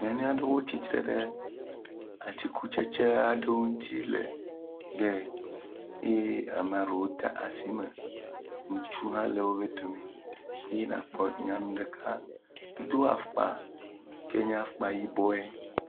Nyɔnu aɖewo tsitre ɖe atikutsetse aɖewo ŋuti le…eye amea ɖewo de asi me, ŋutsu hã le wobe dome ye nàkpɔ nyɔnu ɖeka wodo afɔkpa ke nye afɔkpa yibɔe.